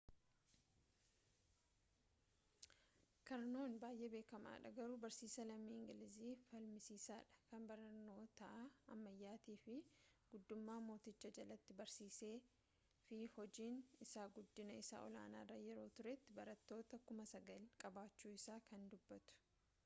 kaarnoon baay'ee beekamaadha garuu barsiisaa lammii ingilizii falmisiisaadha kan barnoota ammayyaatii fi guddummaa mootichaa jalatti barsiisee fi hojiin isaa guddina isa olaanaarra yeroo turetti barattoota 9,000 qabaachuu isaa kan dubbatu